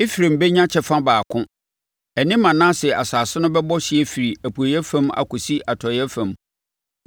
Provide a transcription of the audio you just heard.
Efraim bɛnya kyɛfa baako; ɛne Manase asase no bɛbɔ hyeɛ firi apueeɛ fam akɔsi atɔeɛ fam.